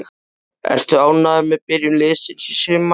Ertu ánægður með byrjun liðsins í sumar?